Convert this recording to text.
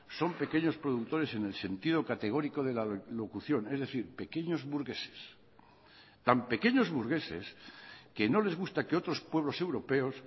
son pequeños productores en el sentido categórico de la locución es decir pequeños burgueses tan pequeños burgueses que no les gusta que otros pueblos europeos